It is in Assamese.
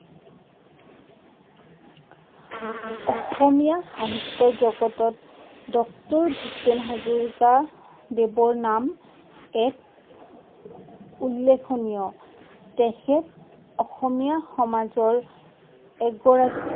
অসমীয়া সাহিত্য জগতত ডক্টৰ ভূপেন হাজৰিকা দেৱৰ নাম এক উল্লেখনীয় তেখেত অসমীয়া সমাজৰ এগৰাকী